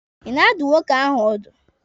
Ị na-adụ nwoke ahụ ọdụ?